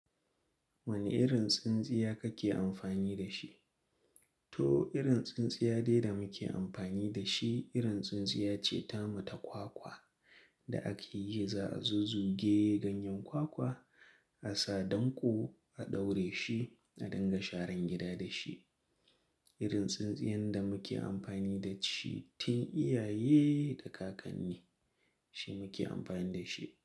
Wane irin tsintsiya kake amfani da shi? To, irin tsintsiya dai da muke amfani da shi, irin tsintsiya ce tamu ta kwakwa da ake yi za a zuzu ge ganyen kwakwa, a sa danko, a ɗaure shi, a dinga sharan gida da shi. Irin tsintsiyan da muke amfani da shi tun iyaye da kakanni, shi muke amfani da shi.